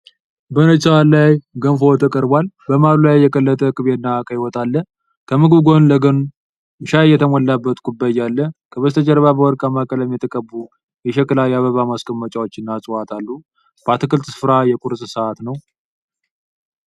በነጭ ሳህን ላይ ገንፎ ተቀርቧል። መሃሉ ላይ የቀለጠ ቅቤና ቀይ ወጥ አለ። ከምግቡ ጎን ለጎን ሻይ የተሞላበት ኩባያ አለ። ከበስተጀርባ በወርቃማ ቀለም የተቀቡ የሸክላ የአበባ ማስቀመጫዎችና እፅዋት አሉ። በአትክልት ስፍራ የቁርስ ሰዓት ነው።